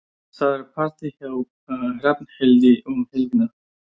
Það er partí hjá Hrafnhildi um helgina.